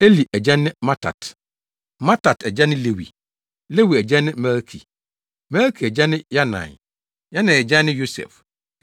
Eli agya ne Mattat; Mattat agya ne Lewi; Lewi agya ne Melki; Melki agya ne Yanai; Yanai agya ne Yosef;